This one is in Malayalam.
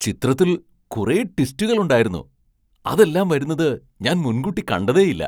ചിത്രത്തിൽ കുറെ ട്വിസ്റ്റുകൾ ഉണ്ടായിരുന്നു! അതെല്ലാം വരുന്നത് ഞാൻ മുൻകൂട്ടി കണ്ടതേയില്ല.